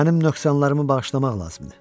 Mənim nöqsanlarımı bağışlamaq lazımdır.